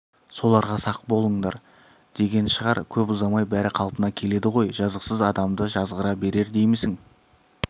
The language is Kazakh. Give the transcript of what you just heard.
соларға сақ болыңдар деген шығар көп ұзамай бәрі қалпына келеді ғой жазықсыз адамды жазғыра берер деймісің